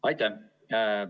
Aitäh!